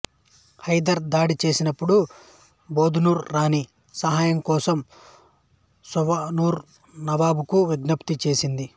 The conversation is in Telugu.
హైదర్ దాడి చేసినప్పుడు బెదనోర్ రాణి సహాయం కోసం సావనూర్ నవాబ్ కు విజ్ఞప్తి చేసింది